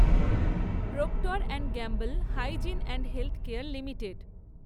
proctor and Gamble hygiene and health care limited